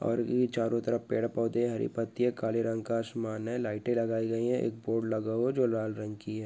और ई चारो तरफ पेड़- पौधे हरी पत्ती है काले रंग का आसमान है लाईटे लगाई गयी है एक बोर्ड लगा हुआ जो लाल रंग की है।